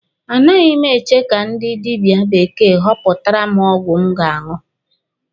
A naghị m eche ka ndị dibia bekee họpụtara m ọgwụ m ga-aṅụ.